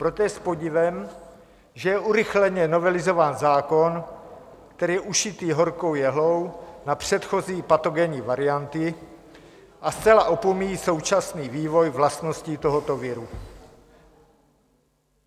Proto je s podivem, že je urychleně novelizován zákon, který je ušitý horkou jehlou na předchozí patogenní varianty a zcela opomíjí současný vývoj vlastností tohoto viru.